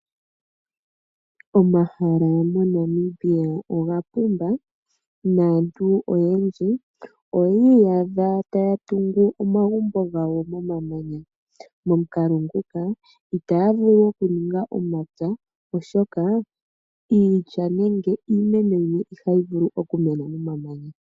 Omahala moNamibia oga pumba naantu oyendji oyi iyadha taya tungu omagumbo gawo momamanya. Momukalo nguka itaya vulu okuninga omapya oshoka iilya nenge iimeno yimwe ihayi vulu okumena momamanya.